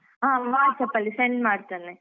ಹ WhatsApp ಅಲ್ಲಿ send ಮಾಡ್ತೇನೆ.